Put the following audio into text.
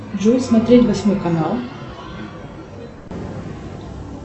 джой смотреть восьмой канал